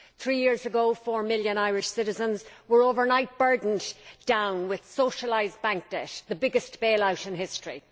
Three years ago four million Irish citizens were overnight burdened down with socialised bank debt the biggest bail out in history.